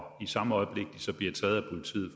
i samme øjeblik de så bliver taget af politiet